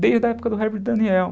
desde a época do Herbert Daniel.